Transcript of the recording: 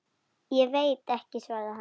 Ég veit ekki, svaraði hann.